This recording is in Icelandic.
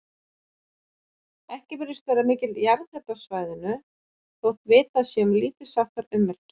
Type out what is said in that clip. Ekki virðist vera mikill jarðhiti á svæðinu, þótt vitað sé um lítilsháttar ummerki.